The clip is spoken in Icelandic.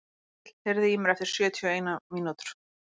Hergill, heyrðu í mér eftir sjötíu og eina mínútur.